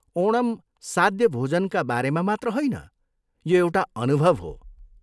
ओणम साद्य भोजनका बारेमा मात्र होइन, यो एउटा अनुभव हो।